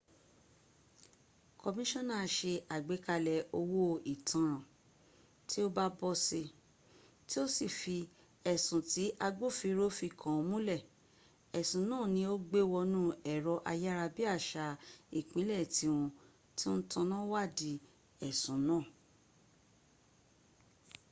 kọmíṣíọ́nà se àgbékalẹ̀ owó ìtanràn tí ó bá bọ́ si tí ó sì fì ẹ̀sùn tí agbófinró fi kàn múnlẹ̀. ẹ̀sùn náà ni ó gbé wọnú ẹ̀rọ ayárabíàsá ìpínlẹ̀ tíwọ́n ti ń taná wádìí ẹ̀sùn náà